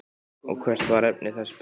Og hvert var efni þess bréfs?